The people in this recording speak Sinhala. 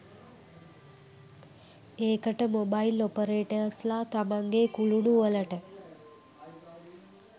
ඒකට මොබයිල් ඔපරේටර්ස්ලා තමන්ගෙ කුළුණුවලට